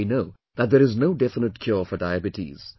And we know that there is no definite cure for Diabetes